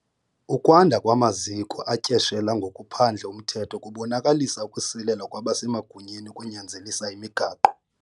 Ukwanda kwamaziko atyeshela ngokuphandle umthetho kubonakalisa ukusilela kwabasemagunyeni ekunyanzelisa imigaqo.